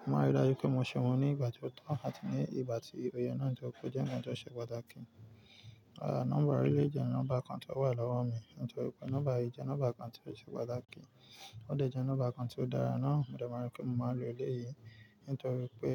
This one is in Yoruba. Mo máa ń rí i dájú pé mo ṣe wọ́n ní ìgbà tí ó tọ́ àti ní ìgbà tí ó ye náà tórí pé ó jẹ́ nkan tó ṣe pàtàkì. Nọ́mbà ọ̀ri lè jẹ́ nọ́mbà kan tí ó wà lọ́wọ́ mi nítorí pé nọ́mbà yìí jẹ́ nọ́mbà kan tí ó ṣe pàtàkì Ó dà jẹ́ nọ́mbà kan tí ó dára ná. Mo de mo e pé mo máa lo eleyìí nítorí pé